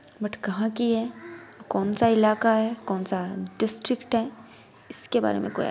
बट कहाँ की है कौन-सा इलाका है कौन-सा डिस्ट्रिक्ट है इसके बारे मे कोई --